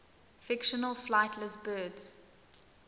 fictional flightless birds